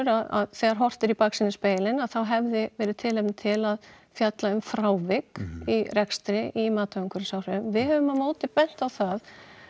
að þegar horft er í baksýnisspegilinn þá hefði verið tilefni til að fjalla um frávik í rekstri í mati á umhverfisáhrifum við höfum á móti bent á það